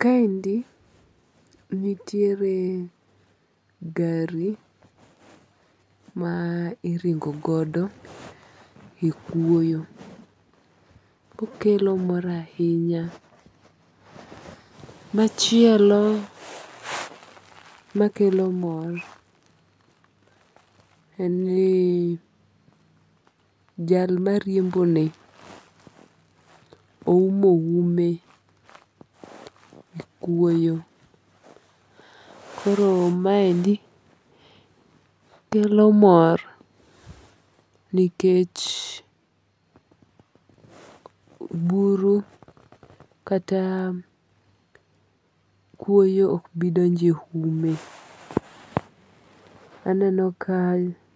Ka endi nitiere gari ma iringo godo e kwoyo kokelo mor ahinya. Machielo makelo mor en ni jal ma riembo ni oumo ume ne kwoyo. Kor maendi kelo mor nikech buro kata kwoyo ok bidonjo e ume. Aneno ka